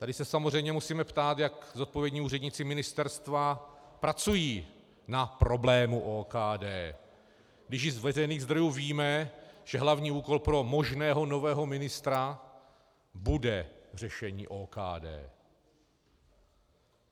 Tady se samozřejmě musíme ptát, jak zodpovědní úředníci ministerstva pracují na problému OKD, když již z veřejných zdrojů víme, že hlavní úkol pro možného nového ministra bude řešení OKD.